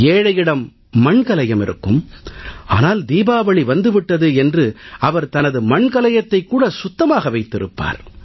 ஏழையிடம் மண்கலயம் இருக்கும் ஆனால் தீபாவளி வந்து விட்டது என்று அவர் தனது மண் கலயத்தைக் கூட சுத்தமாக வைத்திருப்பார்